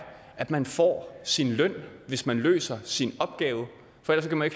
at man får sin løn hvis man løser sin opgave for ellers kan man